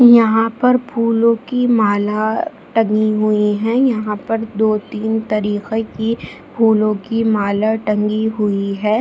यहाँ पर फूलो की माला टंगी हुई है यहाँ पर दो तीन तरह की फूलो की माला टंगी हुई है।